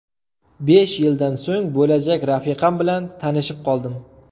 Besh yildan so‘ng bo‘lajak rafiqam bilan tanishib qoldim.